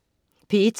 P1: